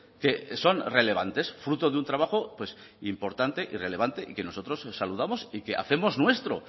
que son relevantes fruto de un trabajo importante y relevante y que nosotros saludamos y que hacemos nuestro